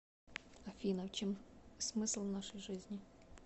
афина в чем смысл нашей жизни